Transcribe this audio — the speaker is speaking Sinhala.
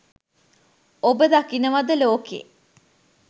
ඔබ දකිනවද ලෝකෙ